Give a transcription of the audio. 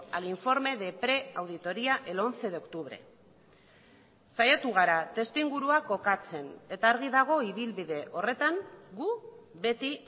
al informe de pre auditoría el once de octubre saiatu gara testuingurua kokatzen eta argi dago ibilbide horretan gu beti